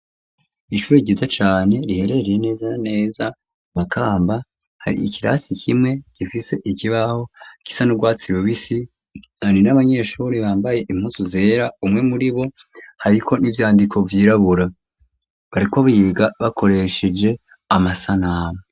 Ishuri ryiza cane riherereye neza na neza i Makamba, hari ikirasi kimwe gifise ikibaho gisa n'urwatsi rubisi. Hari n'abanyeshuri bambaye impuzu zera, umwe muri bo hariko n'ibyandiko vyirabura bariko biga bakoresheje amasanamu.